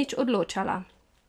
nič odločala?